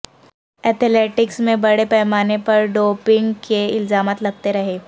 athletics میں بڑے پیمانے پر ڈوپنگ کے الزامات لگتے رہے ہیں